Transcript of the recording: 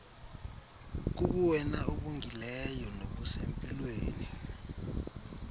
kubuwena obungileyo nobusempilweni